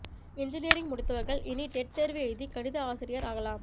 engineering முடித்தவர்கள் இனி TET தேர்வு எழுதி கணித ஆசிரியர் ஆகலாம்